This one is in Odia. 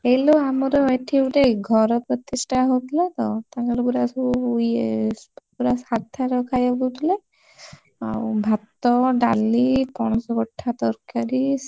ହେଇଲୋ ଆମର ଏଠି ଗୋଟେ ଘର ପ୍ରତିଷ୍ଠା ହଉଥିଲାତ, ତାଙ୍କର ପୁରା ସବୁ ଇଏ ପୁରା ସାଧାର ଖାଇବାକୁ ଦଉଥିଲେ ଆଉ ଭାତ, ଡାଲି, ପଣସ କଠା ତରକାରୀ,